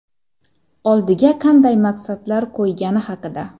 Oldiga qanday maqsadlar qo‘ygani haqida.